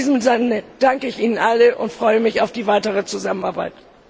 In diesem Sinne danke ich Ihnen allen und freue mich auf die weitere Zusammenarbeit.